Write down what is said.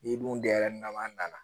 N'i dun dar'i na an nana